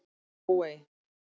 Glóey